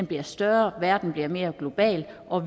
bliver større verden bliver mere globaliseret og